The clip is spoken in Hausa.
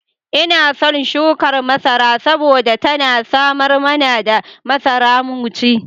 Ina son shukar masara saboda tana samar mana da masara mu ci.